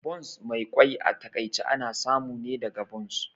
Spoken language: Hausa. Buns Mai kwai a takaice ana samu ne daga buns